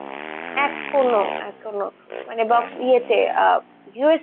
এখনো, এখনো মানে box ইয়েতে আহ viewers